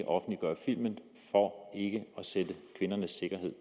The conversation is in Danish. offentliggør filmen for ikke at sætte kvindernes sikkerhed